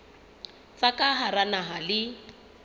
tsa ka hara naha le